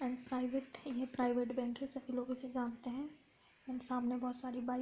And private ये private bank है। सभी लोग इसे जानते हैं एण्ड सामने बोहोत सारी बाइक --